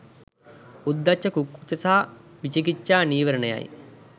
උද්ධච්ච කුක්කුච්ච සහ විචිකිච්චා නීවරණයි.